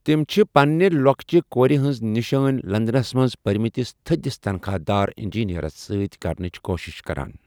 تِم چھِ پنِنہِ لۄکچہِ کورِ ہٕنٛز نِشٲنہِ لندنس منٛز پرِمٕتِس تھدِس تنخواہدار انجینرس سۭتۍ كرنٕچہِ كوٗشِش كران ۔